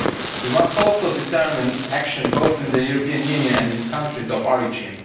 We must also determine what action is needed both in the European Union and in countries of origin.